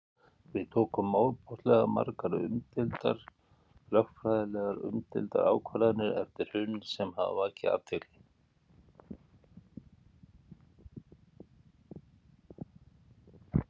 Við tókum ofboðslega margar umdeildar, lögfræðilega umdeildar ákvarðanir eftir hrunið sem hafa vakið athygli?